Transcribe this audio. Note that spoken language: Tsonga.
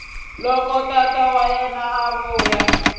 loko tata wa yena a